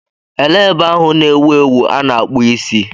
Elee ebe ahụ na-ewu ewu a na-akpụ isi?